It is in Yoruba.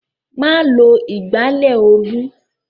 Má lo ìgbálẹ̀ Olú!